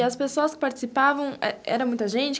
E as pessoas que participavam, era muita gente?